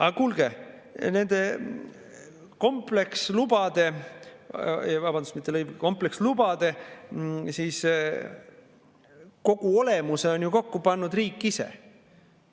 Aga kuulge, nende komplekslubade kogu olemuse on ju kokku pannud riik ise.